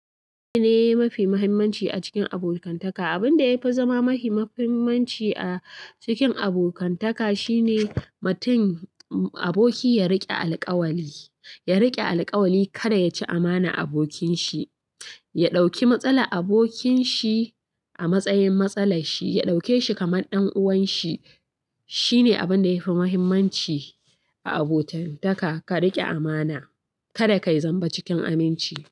Abin da ya fi mahimmanci a cikin abokantaka, abin da ya fi zama mahimmanci a cikin abokantaka shine mutum aboki ya riƙe alƙawari, ya riƙe alƙawari kada ya ci amana abokinsa, ya ɗauki matsalar abokinshi a matsayin matsalar shi, ya ɗauke shi kamar ɗan uwanshi. Shine abin da yafi muhimmanci a abokantaka, ka riƙe amana, kada kai zamba cikin aminci.